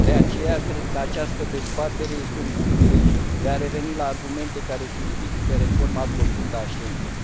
De aceea, cred că această dezbatere este un bun prilej de a reveni la argumente care justifică reforma profundă a spațiului Schengen.